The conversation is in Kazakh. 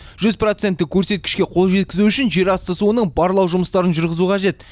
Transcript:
жүз проценттік көрсеткішке қол жеткізу үшін жерасты суының барлау жұмыстарын жүргізу қажет